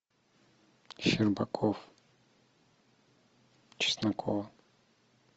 щербаков чеснокова